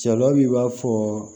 Sariya bi b'a fɔ